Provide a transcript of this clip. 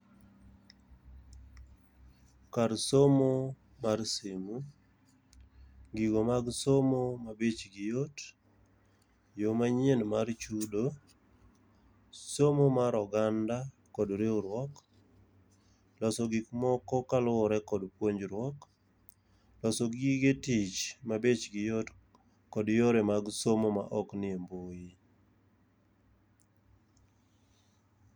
Kar somo mar simu. Gigo mag somo ma bechgi yot, yo manyien mar chudo, somo mar oganda kod riwruok, loso gik moko kaluwore kod puonjriuok. Loso gige tich mabechgi yot kod yore mag somo maok nie mbui.